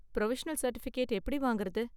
Provisional certificate எப்படி வாங்கறது?